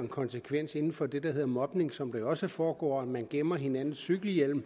den konsekvens inden for det der hedder mobning som der jo også foregår at man gemmer hinandens cykelhjelm